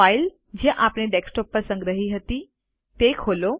file જે આપણે desktop પર સંગ્રહ કરી હતી તે ખોલો